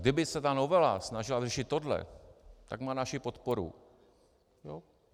Kdyby se ta novela snažila řešit tohle, tak má naši podporu.